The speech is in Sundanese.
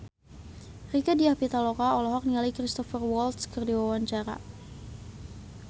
Rieke Diah Pitaloka olohok ningali Cristhoper Waltz keur diwawancara